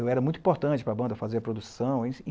Eu era muito importante para a banda fazer a produção.